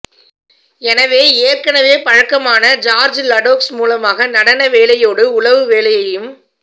எனவே ஏற்கனவே பழக்கமான ஜார்ஜ் லடோக்ஸ் மூலமாக நடன வேலையோடு உளவு வேலையையும்